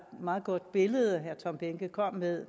meget godt billede herre tom behnke kom med